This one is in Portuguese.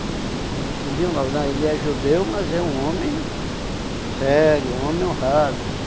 E e diziam logo, não, ele é judeu, mas é um homem sério, um homem honrado.